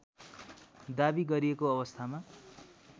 दावी गरिएको अवस्थामा